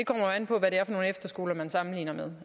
nu efterskoler man sammenligner med